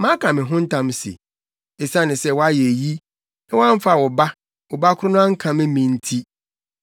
“Maka me ho ntam se, esiane sɛ woayɛ eyi, na woamfa wo ba, wo ba koro no ankame me nti,